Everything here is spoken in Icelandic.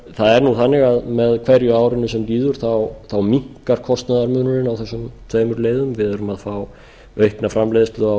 það er nú þannig að með hverju árinu sem líður minnkar kostnaðarmunurinn á þessum tveimur leiðum við erum að fá aukna framleiðslu á